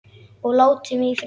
Og láti mig í friði.